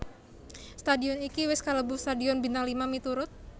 Stadion iki wis kalebu stadion bintang lima miturut